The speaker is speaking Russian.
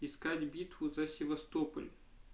искать битву за севастополь